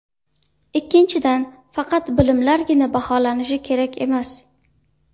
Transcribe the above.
Ikkinchidan, faqat bilimlargina baholanishi kerak emas.